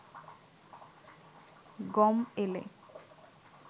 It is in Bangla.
গম এলে